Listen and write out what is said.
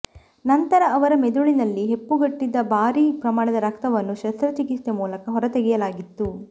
ನಂತರ ಅವರ ಮೆದುಳಿನಲ್ಲಿ ಹೆಪ್ಪುಗಟ್ಟಿದ್ದ ಭಾರೀ ಪ್ರಮಾಣದ ರಕ್ತವನ್ನು ಶಸ್ತ್ರಚಿಕಿತ್ಸೆ ಮೂಲಕ ಹೊರತೆಗೆಯಲಾಗಿತ್ತು